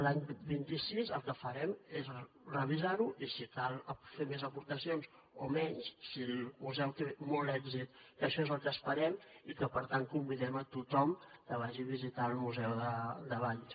l’any vint sis el que farem és revisar ho i si cal fer més aportacions o menys si el museu té molt èxit que això és el que esperem i que per tant convidem a tothom que vagi a visitar el museu de valls